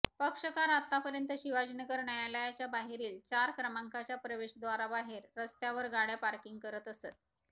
पक्षकार आतापर्यंत शिवाजीनगर न्यायालयाच्या बाहेरील चार क्रमांकाच्या प्रवेशद्वाराबाहेर रस्त्यावर गाड्या पार्किंग करत असत